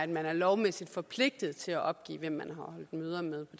man er lovmæssigt forpligtet til at opgive hvem man har holdt møder med